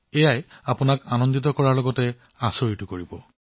ই আপোনাক সুখী আৰু আচৰিত কৰিব